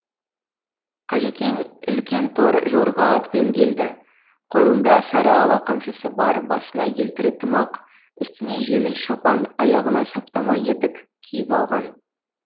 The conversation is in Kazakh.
қажекең үлкен тор жорға атпен келді қолында сарыала қамшысы бар басына елтірі тымақ үстіне жеңіл шапан аяғына саптама етік киіп алған